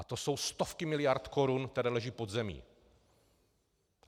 A to jsou stovky miliard korun, které leží pod zemí.